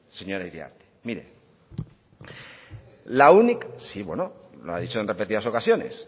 señora iriarte mire la única sí bueno lo ha dicho en repetidas ocasiones